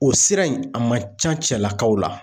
O sira in a man ca cɛlakaw la